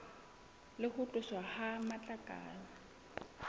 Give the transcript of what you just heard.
le ho tloswa ha matlakala